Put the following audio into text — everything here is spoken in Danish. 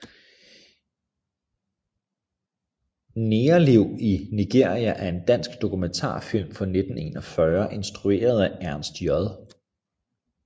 Negerliv i Nigeria er en dansk dokumentarfilm fra 1941 instrueret af Ernst J